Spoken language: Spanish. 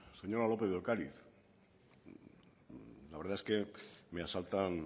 señora lópez de ocariz la verdad es que me asaltan